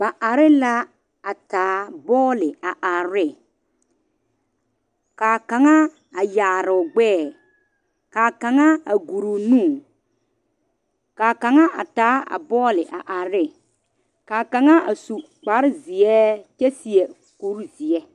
Ba are la a taa bolle a are ne kaa kaŋ a yaare o gbɛ kaa kaŋ guuru o nu ka kaŋa a taa a bolle are ka kaŋa su kuri zeɛ.